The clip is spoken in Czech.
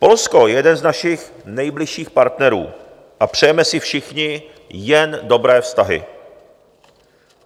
Polsko je jeden z našich nejbližších partnerů a přejeme si všichni jen dobré vztahy.